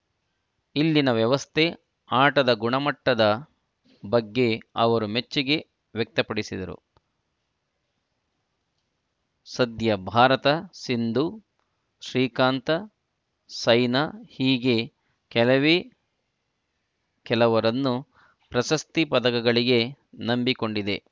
ಇಲ್ಲಿನ ವ್ಯವಸ್ಥೆ ಆಟದ ಗುಣಮಟ್ಟದ ಬಗ್ಗೆ ಅವರು ಮೆಚ್ಚುಗೆ ವ್ಯಕ್ತಪಡಿಸಿದರು ಸದ್ಯ ಭಾರತ ಸಿಂಧು ಶ್ರೀಕಾಂತ್‌ ಸೈನಾ ಹೀಗೆ ಕೆಲವೇ ಕೆಲವರನ್ನು ಪ್ರಶಸ್ತಿ ಪದಕಗಳಿಗೆ ನಂಬಿಕೊಂಡಿದೆ